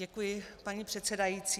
Děkuji, paní předsedající.